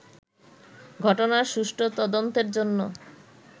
ঘটনার সুষ্ঠু তদন্তের জন্য